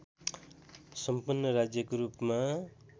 सम्पन्न राज्यको रूपमा